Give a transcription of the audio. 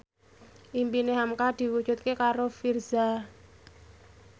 impine hamka diwujudke karo Virzha